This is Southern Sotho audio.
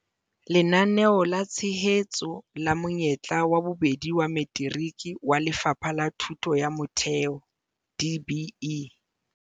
Lenaneo la Tshehetso la Monyetla wa Bobedi wa Materiki wa Lefapha la Thuto ya Motheo, DBE.